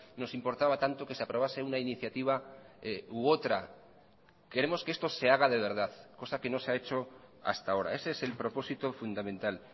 nos importaba tanto que se aprobase una iniciativa u otra queremos que esto se haga de verdad cosa que no se ha hecho hasta ahora ese es el propósito fundamental